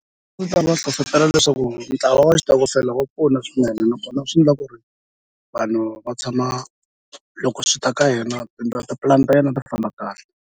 va hlohlotela leswaku ntlawa wa xitokofela wa pfuna swinene nakona swi endla ku ri vanhu va tshama loko swi ta ka yena tipulani ta yena ta famba kahle.